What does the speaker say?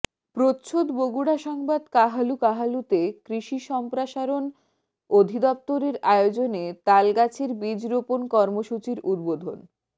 প্রচ্ছদ বগুড়া সংবাদ কাহালু কাহালুতে কৃষি সম্প্রাসরণ অধিদপ্তরের আয়োজনে তাল গাছের বীজ রোপন কর্মসূচীর উদ্বোধন